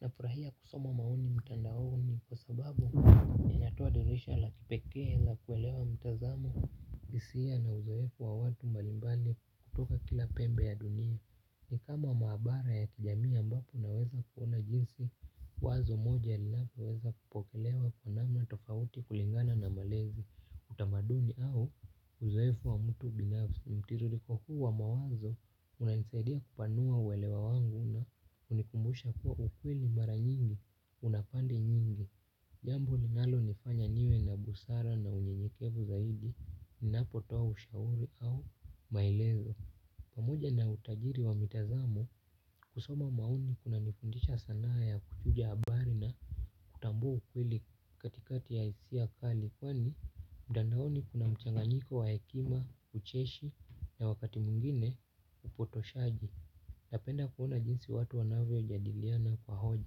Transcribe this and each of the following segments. Nafurahia kusoma maoni mtandaoni kwa sababu inatoa dirisha la kipeke la kuelewa mtazamo. Hisia na uzoefu wa watu mbalimbali kutoka kila pembe ya dunia. Ni kama maabara ya kijamii ambapo unaweza kuona jinsi. Wazo moja ninapoweza kupokelewa kwa namna tofauti kulingana na malezi. Utamaduni au uzoefu wa mtu binafsi. Mtirriko huu wa mawazo, unaeza saidia kupanua uwelewa wangu kunikumbusha kuwa ukwili mara nyingi, unapandi nyingi. Jambo linalo nifanya niwe na busara na unyenyekevu zaidi, ninapo toa ushauri au maelezo. Pamoja na utajiri wa mitazamo kusoma maoni kuna nifundisha sanaa ya kuchuja habari na kutambua ukweli katikati ya hisia kali. Kwani mtandaoni kuna mchanganiko wa hekima, ucheshi na wakati mwingine upotoshaji. Napenda kuona jinsi watu wanavyo jadiliana kwa hoja.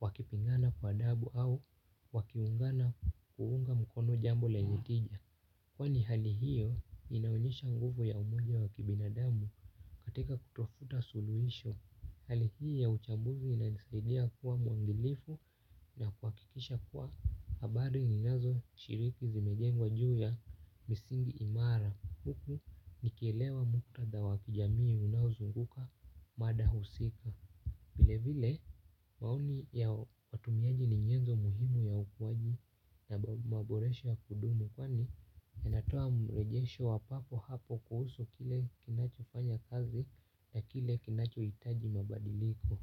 Wakipingana kwa dabu au wakiungana kuunga mkono jambo lenye kinya. Kwani hali hiyo inaonyesha nguvu ya umoja wa kibina damu katika kutafuta suluisho. Hali hii ya uchaguzi inanisaidia kuwa muangalifu na kwakikisha kuwa habari ninazo shiriki zimejengwa juu ya misingi imara huku nikielewa muktadha wakijamii unauzunguka mada husika vile vile maoni ya watumiaji ni nyezo muhimu ya ukuaji na maboresha ya kudumu. Kwani inatoa mrejesho wa papo hapo kuhusu kile kinacho fanya kazi na kile kinacho hitaji mabadiliko.